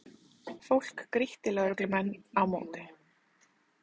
Fólk grýtti lögreglumenn á móti